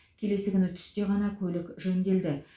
келесі күні түсте ғана көлік жөнделді